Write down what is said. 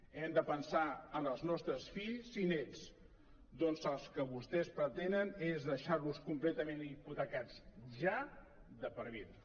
hem de pensar en els nostres fills i nets doncs el que vostès pretenen és deixar los completament hipotecats ja de per vida